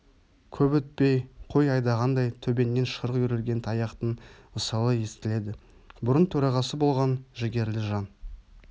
көп өтпей қой айдағандай төбеңнен шырқ үйірілген таяқтың ысылы естіледі бұрын төрағасы болған жігерлі жан